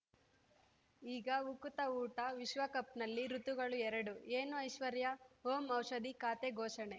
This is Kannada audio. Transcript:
ಈಗ ಉಕುತ ಊಟ ವಿಶ್ವಕಪ್‌ನಲ್ಲಿ ಋತುಗಳು ಎರಡು ಏನು ಐಶ್ವರ್ಯಾ ಓಂ ಔಷಧಿ ಖಾತೆ ಘೋಷಣೆ